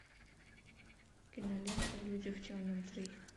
кинолента люди в черном три